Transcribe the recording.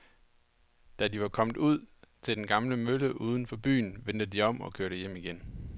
Da de var kommet ud til den gamle mølle uden for byen, vendte de om og kørte hjem igen.